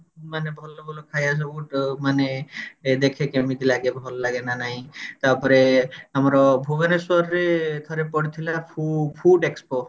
ମାନେ ଭଲ ଭଲ ଖାଇବା ସବୁ ମାନେ ଏ ଦେଖେ କେମତି ଲାଗେ ଭଲ ଲାଗେ ନା ନାଇଁ ତାପରେ ଆମର ଭୁବନେଶ୍ବର ରେ ଥରେ ପଡିଥିଲା ଫୁ food expos